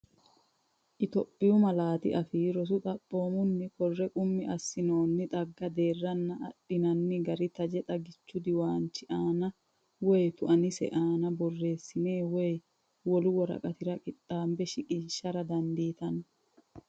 Itophiyu Malaatu Afii Roso Xapoomunni, kore qummi assinoonni xagga deerranna adhinanni gari taje xagichu diwaanchi aana woy tuaninsa aana borreessinenna woy wolu woraqatira qixxaabe shiqqara dandiitanno.